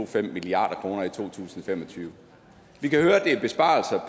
fem milliard kroner i to tusind og fem og tyve